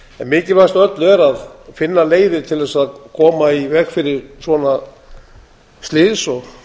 mikilvægast af öllu er að finna leiðir til þess að koma í veg fyrir svona slys og